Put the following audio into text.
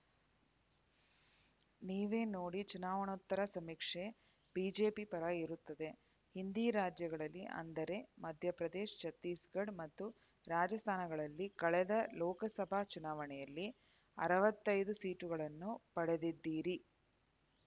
ನೀವೇ ನೋಡಿ ಚುನಾವಣೋತ್ತರ ಸಮೀಕ್ಷೆ ಬಿಜೆಪಿ ಪರ ಇರುತ್ತದೆ ಹಿಂದಿ ರಾಜ್ಯಗಳಲ್ಲಿ ಅಂದರೆ ಮಧ್ಯಪ್ರದೇಶ ಛತ್ತೀಸ್‌ಗಢ ಮತ್ತು ರಾಜಸ್ಥಾನಗಳಲ್ಲಿ ಕಳೆದ ಲೋಕಸಭಾ ಚುನಾವಣೆಯಲ್ಲಿ ಅರವತ್ತೈದು ಸೀಟುಗಳನ್ನು ಪಡೆದಿದ್ದಿರಿ